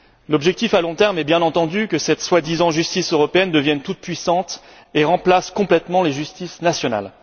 L'objectif, à long terme, est bien entendu que cette soi disant justice européenne devienne toute puissante et remplace complètement les justices nationales.